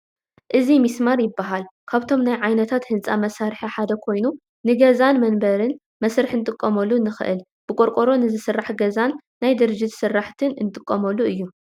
እዚ ሚስማር ይባሃል፡፡ ካብቶም ናይ ዓይነታት ህንፃ መሳርሒ ሓደ ኮይኑ ንገዛን መንበርን መስርሒ ክንጥቀመሉ ንኽእልን ብቆርቆሮ ንዝስራሕ ገዛን ናይ ድርጅት ስራሕትን እንጥቀመሉ እዩ፡፡